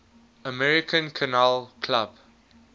american kennel club